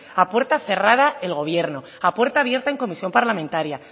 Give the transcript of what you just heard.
a puerta cerrada el gobierno a puerta abierta en comisión parlamentaria